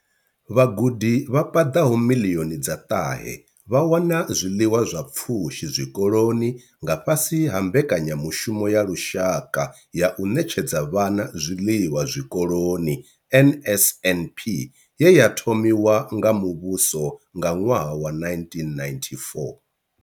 Vhagudi vha paḓaho miḽioni dza ṱahe vha wana zwiḽiwa zwa pfushi zwikoloni nga fhasi ha Mbekanya mushumo ya Lushaka ya u Ṋetshedza Vhana Zwiḽiwa Zwikoloni NSNP ye ya thomiwa nga muvhuso nga ṅwaha wa 1994.